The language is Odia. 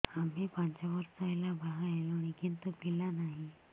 ଆମେ ପାଞ୍ଚ ବର୍ଷ ହେଲା ବାହା ହେଲୁଣି କିନ୍ତୁ ପିଲା ନାହିଁ